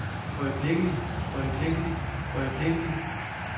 øjeblikkelig øjeblikkelig øjeblikkelig